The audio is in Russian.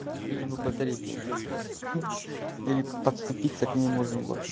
лишь бы батарейка вытаскивать или подступиться к ней можно было